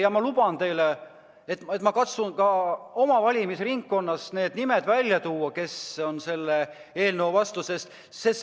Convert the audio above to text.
Ja ma luban teile, et ma katsun ka oma valimisringkonnas nimetada nende inimeste nimed, kes on selle eelnõu vastu.